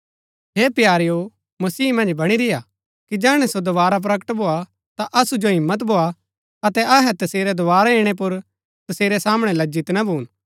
हे प्यारेओ मसीह मन्ज बणी रेय्आ कि जैहणै सो दोवारा प्रकट भोआ ता असु जो हिम्मत भोआ अतै अहै तसेरै दोवारा इणै पुर तसेरै सामणै लज्जित ना भून